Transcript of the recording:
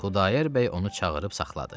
Xudayar bəy onu çağırıb saxladı.